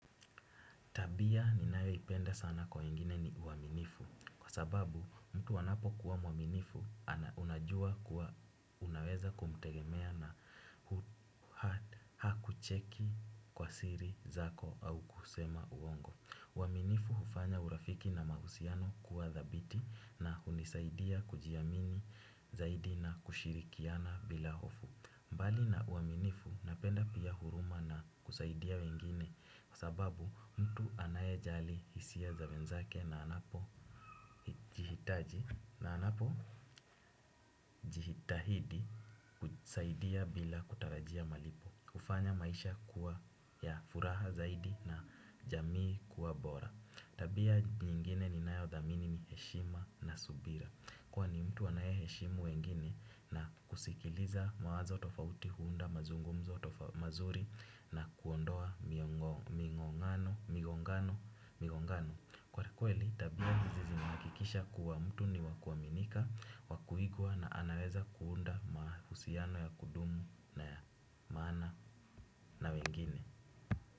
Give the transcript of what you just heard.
Tabia ninayoipenda sana kwa wengine ni uaminifu kwa sababu mtu anapokuwa mwaminifu unajua kuwa unaweza kumtegemea na hakucheki kwa siri zako au kusema uongo. Uaminifu hufanya urafiki na mahusiano kuwa dhabiti na hunisaidia kujiamini zaidi na kushirikiana bila hofu. Mbali na uaminifu napenda pia huruma na kusaidia wengine kwa sababu mtu anayejali hisia za wenzake na anapo jihitaji na anapo jitahidi kusaidia bila kutarajia malipo hufanya maisha kuwa ya furaha zaidi na jamii kuwa bora. Tabia nyingine ninayoithamini ni heshima na subira. Kwani mtu anae heshimu wengine na kusikiliza mawazo tofauti huunda mazungumzo tofauti mazuri na kuondoa migongano migongano migongano kwakweli tabia hizi zinahakikisha kuwa mtu ni wa kuaminika wa kuigua na anaweza kuunda mahusiano ya kudumu na ya maana na wengine.